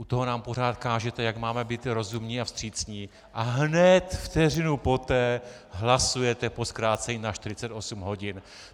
U toho nám pořád kážete, jak máme být rozumní a vstřícní, a hned vteřinu poté hlasujete o zkrácení na 48 hodin.